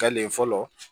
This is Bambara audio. Fɛn le fɔlɔ